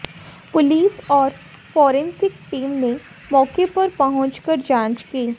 police और forensic team ने मौके पर पहुंच कर जांच की